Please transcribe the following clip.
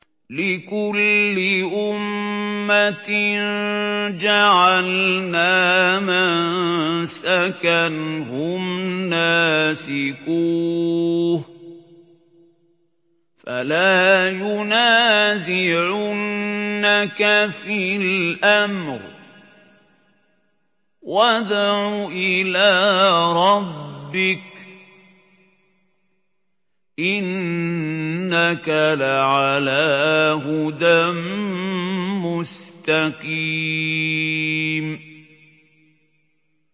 لِّكُلِّ أُمَّةٍ جَعَلْنَا مَنسَكًا هُمْ نَاسِكُوهُ ۖ فَلَا يُنَازِعُنَّكَ فِي الْأَمْرِ ۚ وَادْعُ إِلَىٰ رَبِّكَ ۖ إِنَّكَ لَعَلَىٰ هُدًى مُّسْتَقِيمٍ